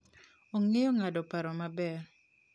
Ong'eyo ng'ado paro maber.